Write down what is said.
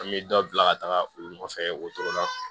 An bɛ dɔ bila ka taga u nɔfɛ o cogo la